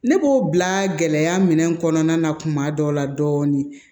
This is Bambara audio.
Ne b'o bila gɛlɛya minɛn kɔnɔna na kuma dɔw la dɔɔnin